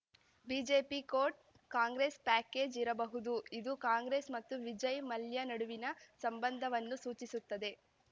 BJP ಕೋಟ್‌ Congress package ಇರಬಹುದು ಇದು ಕಾಂಗ್ರೆಸ್‌ ಮತ್ತು ವಿಜಯ್‌ ಮಲ್ಯ ನಡುವಿನ ಸಂಬಂಧವನ್ನು ಸೂಚಿಸುತ್ತದೆ